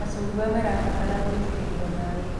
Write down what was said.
Macungwa marabatara gũitĩrĩrio maĩ.